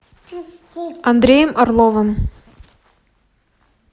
андреем орловым